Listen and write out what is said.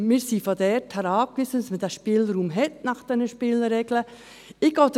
Wir sind darauf angewiesen, dass man diesen Spielraum nach diesen Spielregeln hat.